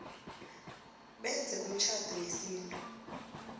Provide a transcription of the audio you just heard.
benze umtjhado wesintu